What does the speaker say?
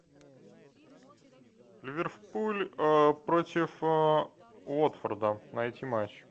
ливерпуль против уотфорда найти матч